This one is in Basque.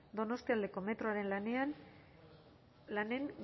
donostialdeko metroaren lanen